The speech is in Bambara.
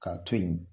K'a to yen